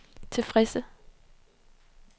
tilfredse